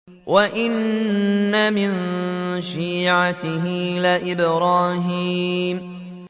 ۞ وَإِنَّ مِن شِيعَتِهِ لَإِبْرَاهِيمَ